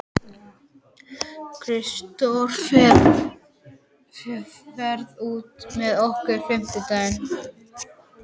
Kristdór, ferð þú með okkur á fimmtudaginn?